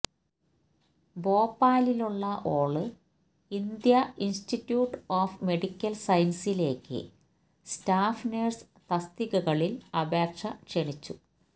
ഭോപ്പാലിലുള്ള all India institute of medical സയന്സസിലേക്ക് staff nurse തസ്തികകളില് അപേക്ഷ ക്ഷണിച്ചു